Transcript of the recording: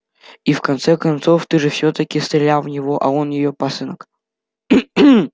и в конце-то концов ты же всё-таки стрелял в него а он её пасынок